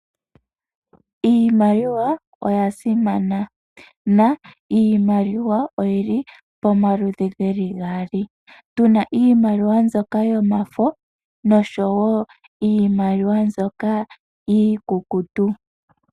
Iimaliwa oya simana, na iimaliwa oyi li pomaludhi ge li gaali. Tu na iimaliwa mbyoka yomafo noshowo iimaliwa mbyoka iikukutu.